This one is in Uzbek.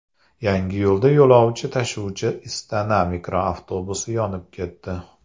Yangiyo‘lda yo‘lovchi tashuvchi Istana mikroavtobusi yonib ketdi .